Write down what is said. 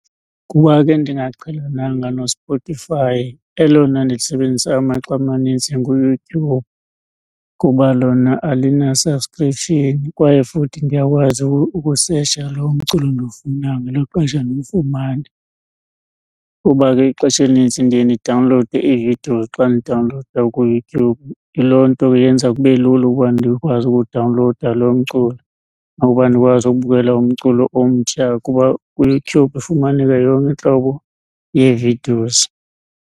Kuba ke ndingaqhelananga noSpotify elona ndilisebenzisa amaxa amanintsi nguYoutube. Kuba lona alina subscription kwaye futhi ndiyakwazi ukusetsha loo mculo ndiwufunayo ngelo xesha ndiwufumane. Kuba ke ixesha elinintsi ndiye ndidawunlowude ii-videos xa ndidawunlowuda kuYoutube. Yiloo nto ke yenza kube lula ukuba ndikwazi ukuwudawunlowuda loo mculo ukuba ndikwazi ukubukela umculo omtsha, kuba kuYoutube ifumaneka yonke intlobo yee-videos.